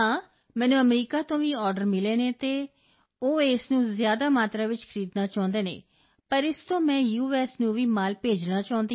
ਨੂੰ ਵੀ ਮਾਲ ਭੇਜਣਾ ਚਾਹੁੰਦੀ ਹਾਂ yes I have got a market from USA also the want to buy in bulk in lots quantities but I want to give from this year to send the u